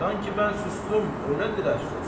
Sanki mən susdum, öylədir əfsus.